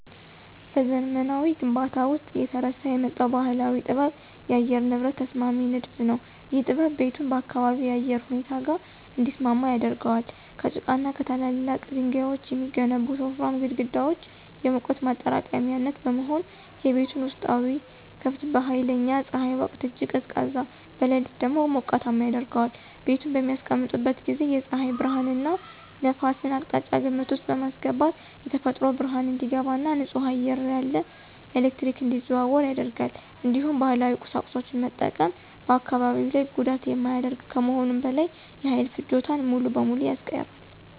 በዘመናዊ ግንባታዎች ውስጥ እየተረሳ የመጣው ባህላዊ ጥበብ የአየር ንብረት ተስማሚ ንድፍ ነው። ይህ ጥበብ ቤቱን ከአካባቢው የአየር ሁኔታ ጋር እንዲስማማ ያደርጋል። ከጭቃና ከትላልቅ ድንጋዮች የሚገነቡት ወፍራም ግድግዳዎች የሙቀት ማጠራቀሚያነት በመሆን፣ የቤቱን ውስጣዊ ክፍል በኃይለኛ ፀሐይ ወቅት እጅግ ቀዝቃዛ፣ በሌሊት ደግሞ ሞቃታማ ያደርገዋል። ቤቱን በሚያስቀምጡበት ጊዜ የፀሐይ ብርሃንንና ነፋስን አቅጣጫ ግምት ውስጥ በማስገባት የተፈጥሮ ብርሃን እንዲገባ እና ንጹህ አየር ያለ ኤሌክትሪክ እንዲዘዋወር ያደርጋል። እንዲሁም ባህላዊ ቁሳቁሶችን መጠቀም በአካባቢ ላይ ጉዳት የማያደርግ ከመሆኑም በላይ የኃይል ፍጆታን ሙሉ በሙሉ ያስቀራል።